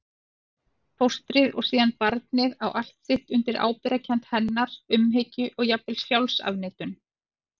Fóstrið og síðan barnið á allt sitt undir ábyrgðarkennd hennar, umhyggju og jafnvel sjálfsafneitun.